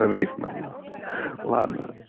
рифма нахуй ладно